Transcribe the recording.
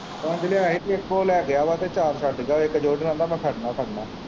ਪੰਜ ਲਿਆਇਆ ਹੀ ਤੇ ਇੱਕ ਉਹ ਲੈ ਗਿਆ ਵਾ ਤੇ ਚਾਰ ਛੱਡ ਗਿਆ ਇੱਕ ਦੋ ਨੂੰ ਆਂਦਾ ਮੈਂ ਖੜਨਾ ਹੀ ਖੜਨਾ।